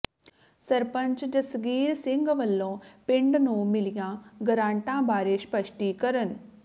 ਸਰਪੰਚ ਜਗਸੀਰ ਸਿੰਘ ਵੱਲੋਂ ਪਿੰਡ ਨੂੰ ਮਿਲੀਆਂ ਗਰਾਂਟਾਂ ਬਾਰੇ ਸਪਸ਼ਟੀਕਰਣ